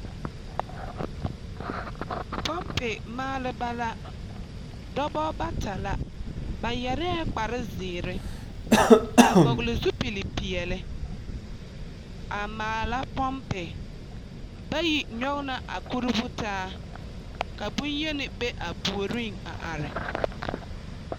Pɔmpe maaleba la. Dɔbɔ bata la. Ba yɛrɛɛ kparre zeere a vɔgle zupilipeɛle, a maala pɔmpe. Bayi nyɔge la a kurubu taa, ka bonyeni be a puoriŋ a are.